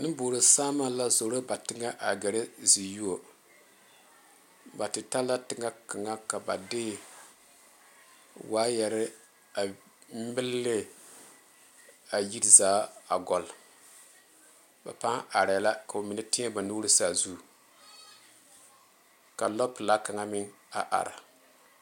Nenboɔre saama la a zoro gare ba teŋa a gaare zie zuo ba te ta la teŋa kaŋa ka ba de waayeere a mili ne a yiri zaa a gyile ba paa are la ka ba mine tiɛ ba nuure saazu ka lɔ pelaa kaŋa meŋ a are.